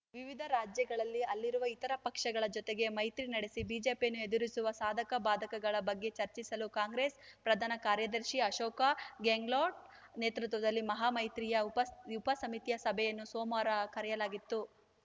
ವಿವಿಧ ರಾಜ್ಯಗಳಲ್ಲಿ ಅಲ್ಲಿರುವ ಇತರ ಪಕ್ಷಗಳ ಜೊತೆಗೆ ಮೈತ್ರಿ ನಡೆಸಿ ಬಿಜೆಪಿಯನ್ನು ಎದುರಿಸುವ ಸಾಧಕ ಬಾಧಕಗಳ ಬಗ್ಗೆ ಚರ್ಚಿಸಲು ಕಾಂಗ್ರೆಸ್‌ ಪ್ರಧಾನ ಕಾರ್ಯದರ್ಶಿ ಅಶೋಕ್‌ ಗೆನ್ಗ್ಲೋಟ್‌ ನೇತೃತ್ವದಲ್ಲಿ ಮಹಾ ಮೈತ್ರಿಯ ಉಪ ಸಮಿತಿಯ ಸಭೆಯನ್ನು ಸೋಮವಾರ ಕರೆಯಲಾಗಿತ್ತು